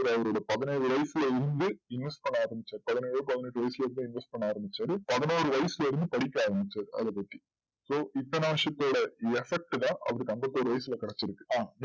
அவர் அவரோட பதினேழு வயசுலஇருந்து inverse பண்ண ஆரம்பிச்சு பதினேழு பதினெட்டு வயசுல இருந்து inverse பண்ண ஆரம்பிச்சாரு பதினொரு வயசுலஇருந்து படிக்க ஆரம்பிச்சாரு அதபத்தி so இத்தன வருஷத்தோட effort தான் அவருக்கு ஐம்பத்தி ஏழு வயசுல கெடைச்சுருக்கு ஆ